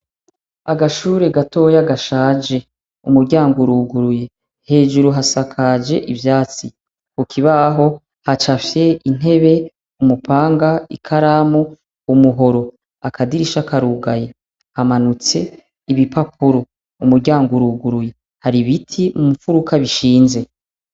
Agashure gatoya gashaje. Umuryango uruguye. Hejuru hasakaje ivyatsi. Ku kibaho hacapfye intebe, umupanga, ikaramu, umuhoro. Akadirisha karugaye. Hamanitse ibipapuro. Umuryango uruguye. Hari ibiti mu mufuruka bishinze.